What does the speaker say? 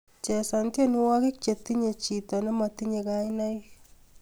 Chesan tyenwogik chetinye chiti nematine kainaik